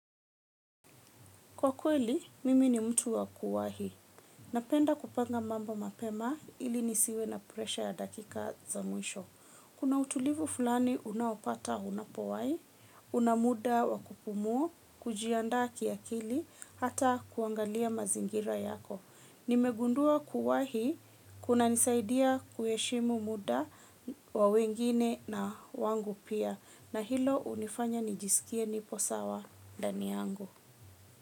Kwa kweli, mimi ni mtu wa kuwahi. Napenda kupanga mambo mapema ili nisiwe na presha ya dakika za mwisho. Kuna utulivu fulani unaopata unapowai, una muda wa kupumua, kujiandaa kiakili, hata kuangalia mazingira yako. Nimegundua kuwahi, kunanisaidia kuheshimu muda wa wengine na wangu pia. Na hilo hunifanya nijisikie nipo sawa ndani yangu.